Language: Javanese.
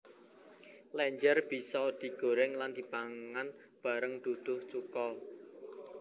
Lenjer bisa digoreng lan dipangan bareng duduh cuko